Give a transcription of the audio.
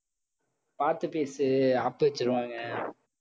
பாத்து பேசு ஆப்பு வச்சிடுவாங்க